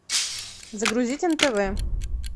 загрузить нтв